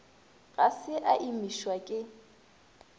ga se a imišwa ke